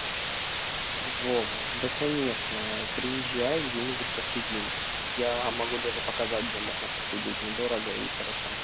вова да конечно приезжай где-нибудь посидим я могу даже показать где можно посидеть недорого и хорошо